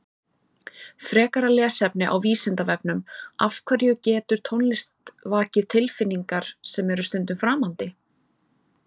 Frekara lesefni á Vísindavefnum Af hverju getur tónlist vakið tilfinningar sem eru stundum framandi?